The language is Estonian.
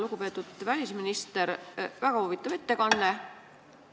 Lugupeetud välisminister, teil oli väga huvitav ettekanne.